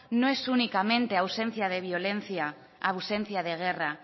no es únicamente ausencia de violencia ausencia de guerra